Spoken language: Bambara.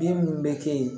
Den minnu bɛ kɛ yen